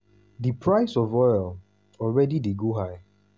di price of oil already dey go high.